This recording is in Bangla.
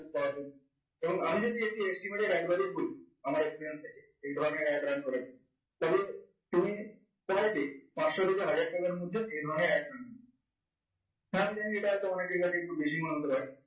এবং আমি যদি estimate এর adbudget করি আমার experience থেকে এই ধরণের ad run করাই তবে তুমি পরের দিন পাঁচশো থেকে হাজার টাকার মধ্যে দেড় ঘন্টায় আনবে হ্যাঁ আমি জানি এটা অনেকের কাছে বেশি হতে পারে